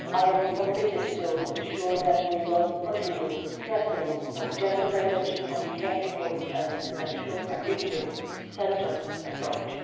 I am committed to ensure that we will continue to stress the gender dimension of trafficking and ensure a victim centred approach.